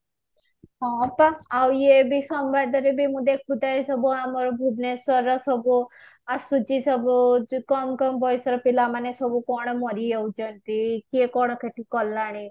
ହଁ ପା ଆଉ ଇଏ ବି ସମ୍ବାଦ ରେ ବି ମୁଁ ଦେଖୁଥାଏ ସବୁ ଆମର ଭୁବନେଶ୍ବର ର ସବୁ ଆସୁଛି ସବୁ ଯୋ କମ କମ ବୟସ ର ପିଲାମାନେ ସବୁ କଣ ମରିଯାଉଛନ୍ତି କିଏ କଣ କ୍ଷତି କଲାଣି